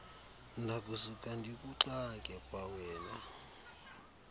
ndakusuka ndikuxake kwawena